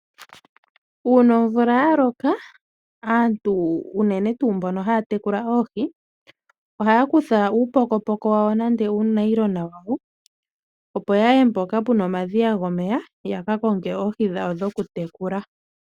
Uuna omvula ya loka, aantu unene tuu mbono haa tekula oohi ohaya kutha uupokopoko wawo nenge uufwagalala wawo opo ya ye mpoka pu na omadhiya gomeya yaka konge oohii dhawo dhoku tekula.